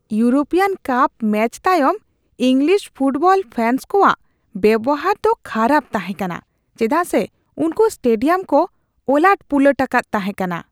European cup match ᱛᱟᱭᱚᱢ English football fans ᱠᱚᱣᱟᱜ ᱵᱮᱣᱦᱟᱨ ᱫᱚ ᱠᱷᱟᱨᱟᱯ ᱛᱟᱦᱮᱸ ᱠᱟᱱᱟ ᱪᱮᱫᱟᱜ ᱥᱮ ᱩᱱᱠᱩ ᱥᱴᱮᱰᱤᱭᱟᱢ ᱠᱚ ᱚᱞᱟᱹᱴᱼᱯᱩᱞᱟᱹᱴ ᱟᱠᱟᱫ ᱛᱟᱦᱮᱸ ᱠᱟᱱᱟ ᱾